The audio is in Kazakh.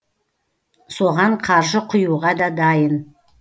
соған қаржы құюға да дайын